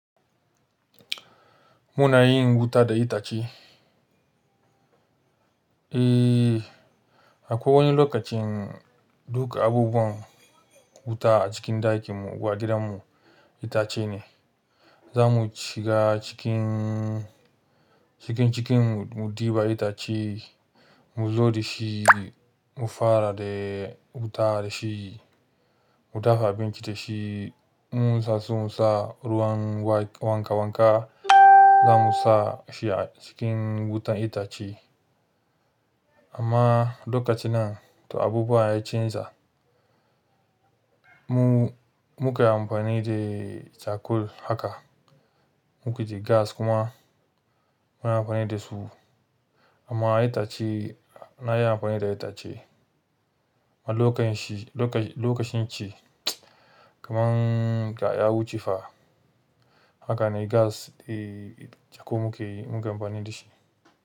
Muna yin wuta da itace. Eh, akwai wani lokacin duk abubuwan wuta a cikin ɗakin mu a gidan mu itace ne. Za mu shiga cikin, cikin cikin mu ɗiba itace, mu zo da shi, mu fara da wuta da shi, mu dafa abinci da shi. Mun sasu sa ruwan wanka wanka, za mu sa shi a cikin wutar itace. Amma lokaci nan to abubuwa ya canza. Mu muka amfani da cakul haka, muka ji gas kuma muna amfani da su. Amma itace, nayi amfani da itace ma lokacin shi, lokacin shi kamar ya wuce fa haka ne gas eh jakun muke mun ke amfani da shi.